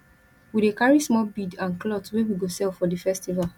we dey carry small bead and cloth wey we go sell for di festival